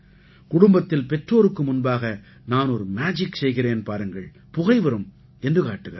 குடும்பத்தில் பெற்றோருக்கு முன்பாக நான் ஒரு மேஜிக் செய்கிறேன் பாருங்கள் புகை வரும் என்று காட்டுகிறார்கள்